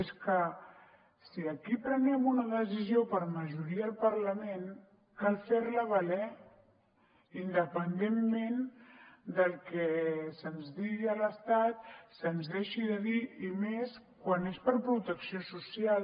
és que si aquí prenem una decisió per majoria al parlament cal ferla valer independentment del que se’ns digui a l’estat se’ns deixi de dir i més quan és per protecció social